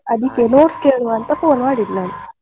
ಅದಿಕ್ಕೆ notes ಕೇಳುವ ಅಂತ phone ಮಾಡಿದ್ ನಾನ್.